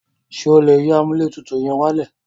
Ṣé o lè yín amúlẹ̀tutù yẹn wálẹ̀?